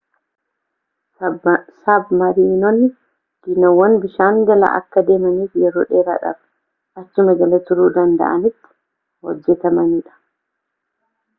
sabmariinonni dooniiwwan bishaan jala akka deemaniifi yeroo dheeraadhaaf achuma jala turuu danda'anitti hojjetamanidha